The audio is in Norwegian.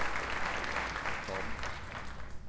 ta den